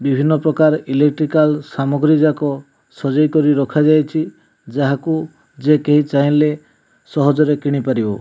ବିଭିନ୍ନ ପ୍ରକାର ଇଲେକ୍ଟ୍ରିକାଲ ସାମଗ୍ରୀ ଯାକ ସଜେଇ କରି ରଖା ଯାଇଛି ଯାହାକୁ ଯେ କେହି ଚାହିଁଲେ ସହଜ ରେ କିଣି ପାରିବ।